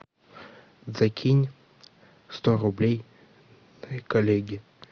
закинь сто рублей коллеге